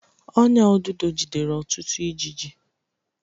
Ọ́nyà odudo jidere ọtụtụ ijiji.